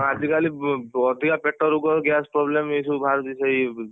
ହଁ ଆଜି କାଲି ଅଧିକା ପେଟ ରୋଗ gas problem ଏଇସବୁ ବାହାରୁଛି ସେଇ।